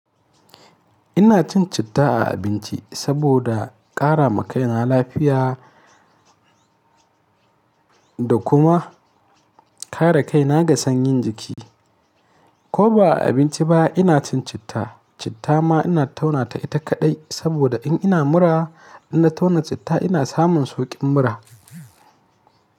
Ina cin citta a abinci saboda ƙara ma kaina lafiya da kuma kare kaina ga sanyin jiki. Ko ba a abinci ba ina cin citta. Citta ma ina tauna ta ita kaɗai saboda in ina mura, in na tauna citta ina samun sauƙin mura.